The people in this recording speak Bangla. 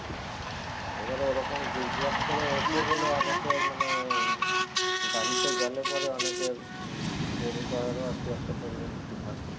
এবারে ওরকম zigzag করে ওঠে বলে অনেকের মানে গাড়িতে গেলে পরে অনেকের উম বমি পাওয়ারও আরকি একটা tendency থাকে